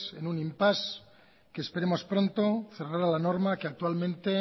en un impasse que esperemos pronto cerrada la norma que actualmente